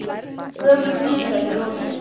Gömul vísa í lokin.